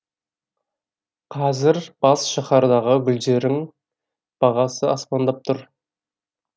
қазір бас шаһардағы гүлдерің бағасы аспандап тұр